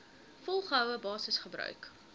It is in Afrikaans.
volgehoue basis gebruik